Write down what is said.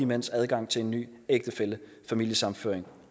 mænds adgang til en ny ægtefælle og familiesammenføring